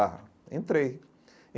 Ah, entrei.